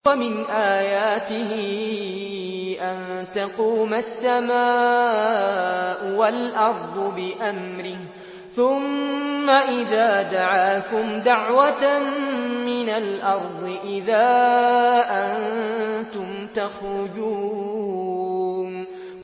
وَمِنْ آيَاتِهِ أَن تَقُومَ السَّمَاءُ وَالْأَرْضُ بِأَمْرِهِ ۚ ثُمَّ إِذَا دَعَاكُمْ دَعْوَةً مِّنَ الْأَرْضِ إِذَا أَنتُمْ تَخْرُجُونَ